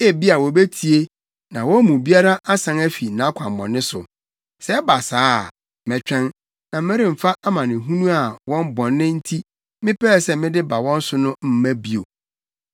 Ebia wobetie, na wɔn mu biara asan afi nʼakwammɔne so. Sɛ ɛba saa a, mɛtwɛn, na meremfa amanehunu a wɔn bɔne nti mepɛɛ sɛ mede ba wɔn so no mma bio.